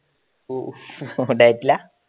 ഓ ഡയറ്റില